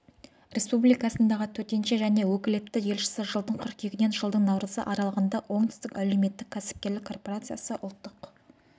республикасындағы төтенше және өкілетті елшісі жылдың қыркүйегінен жылдың наурызы аралығында оңтүстік әлеуметтік кәсіпкерлік корпорациясы ұлттық